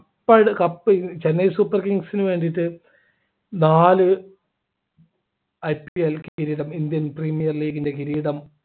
cup Chennai super kings നു വേണ്ടീട്ടു നാല് IPL കിരീടം Indian premiere league ൻ്റെ കിരീടം